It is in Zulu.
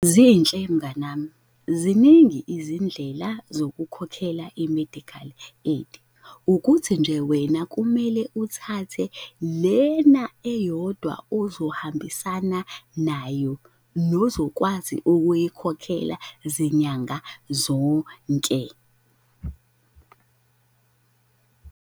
Zinhle mnganami, ziningi izindlela zokukhokhela i-medical aid, ukuthi nje wena kumele uthathe lena eyodwa ozohambisana nayo nozokwazi ukuyikhokhela zinyanga zonke.